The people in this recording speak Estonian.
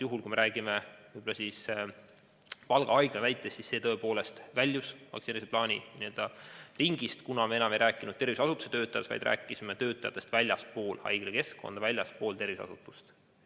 Kui me räägime Valga Haigla juhtumist, siis see tõepoolest väljus vaktsineerimise plaanist, kuna seal ei olnud enam tegemist tervishoiuasutuse töötajatega, vaid inimestega väljastpoolt haiglakeskkonda, väljastpoolt tervishoiuasutust.